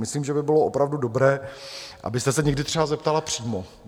Myslím, že by bylo opravdu dobré, abyste se někdy třeba zeptala přímo.